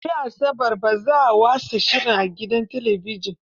Gobe asabar, ba za a watsa shirin a gidan talabijin.